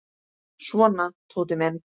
Svona, Tóti minn.